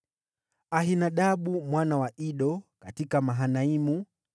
Ahinadabu mwana wa Ido: katika Mahanaimu;